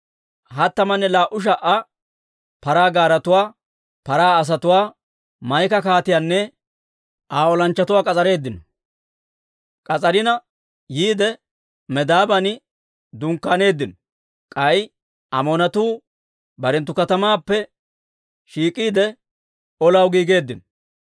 Hattamanne laa"u sha"a paraa gaaretuwaa, paraa asatuwaa, Maa'ika kaatiyaanne Aa olanchchatuwaa k'as'areeddino; k'as'arina yiide, Medaaban dunkkaaneeddino. K'ay Amoonatuu barenttu katamaappe shiik'iide, olaw giigeeddino.